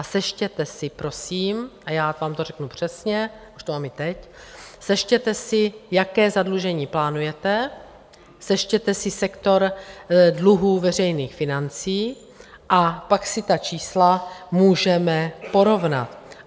A sečtěte si prosím, a já vám to řeknu přesně, už to mám i teď, sečtěte si, jaké zadlužení plánujete, sečtěte si sektor dluhů veřejných financí a pak si ta čísla můžeme porovnat.